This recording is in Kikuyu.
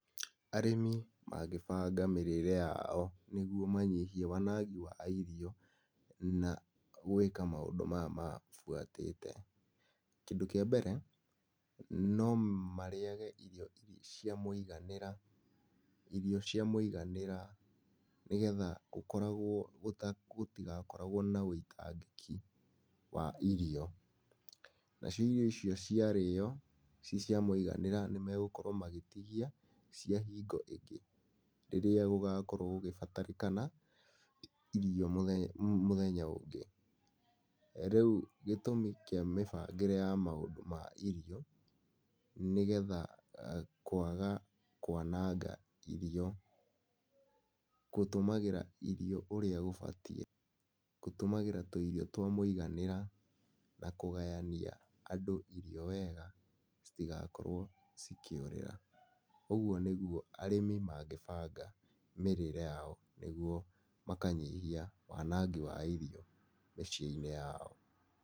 Arĩmi mangĩbanga mĩrĩĩre yao nĩgwo manyihie wanangi wa irio na gwĩka maũndũ maya mabuatĩte. Kĩndũ kĩa mbere, no marĩage irio irĩ cia mũiganĩra, irio cia mũiganĩra nĩgetha gũkoragwo, gũtigakoragwo na wĩitangĩki wa irio. Nacio irio icio ciarĩyo ci cia mũiganĩra nimegũkorwo magĩtigia cia hingo ĩngĩ rĩrĩa gũgakorwo gũgĩbatarĩkana irio mũthenya, mũthenya ũngĩ. Rĩu gĩtũmi kĩa mĩbangĩre ya maũndũ ma irio nĩgetha kwaga kwananga irio, gũtũmagĩra irio ũrĩa gũbatiĩ, gũtũmagĩra twĩirio twa mũiganĩra, na kũgayania andũ irio wega citigakorwo cikĩũrĩra. Ũgwo nĩgwo arĩmi mangĩbanga mĩrĩĩre yao nĩgwo makanyihia wanangi wa irio mĩciĩ-inĩ yao.